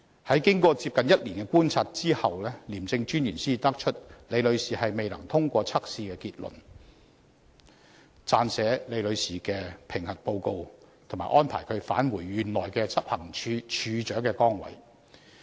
"在經過接近1年的觀察後，廉政專員才得出李女士未能通過測試的結論及撰寫李女士的評核報告，並安排她返回原來的執行處處長崗位。